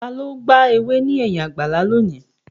Ta ló gba ewé ní ẹ̀yìn àgbàlá lónìí?